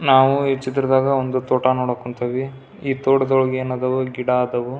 ನಾವು ಈ ಚಿತ್ರದಾಗ ಒಂದು ತೋಟ ನೋಡಕ್ ಹೊಂಟಿವಿ ಈ ತೋಟದೊಳಗ ಏನ್ ಆದವು ಗಿಡ ಆದವು --